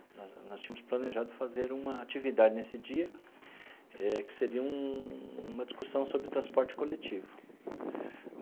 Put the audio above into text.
Nós nós tínhamos planejado fazer uma atividade nesse dia, eh que seria um uma discussão sobre transporte coletivo.